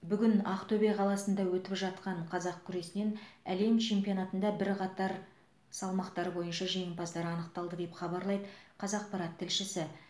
бүгін ақтөбе қаласында өтіп жатқан қазақ күресінен әлем чемпионатында бірқатар салмақтар бойынша жеңімпаздар анықталды деп хабарлайды қазақпарат тілшісі